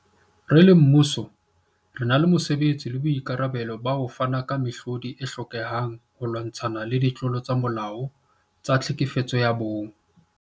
Re le mmuso, re na le mosebetsi le boikarabelo ba ho fana ka mehlodi e hlokehang holwantshwa ditlolo tsa molao tsa tlhekefetso ya bong.